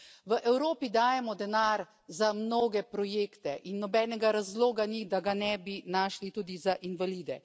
V Evropi dajemo denar za mnoge projekte in nobenega razloga ni, da ga ne bi tudi našli tudi za invalide.